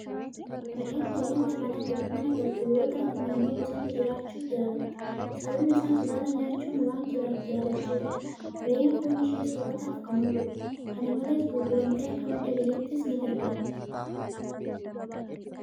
Re'een bineelda mana galtu yoo taatu, naannoo bosonni jiraachuu jaalatti. Sababni isaas baala nyaachuu waan jaalattuufidha. Re'een foon ishee soorataaf kan ooludha. Kana malees, gurguramtee akka madda galiittis ni gargaarti.